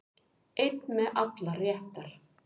Einn með allar réttar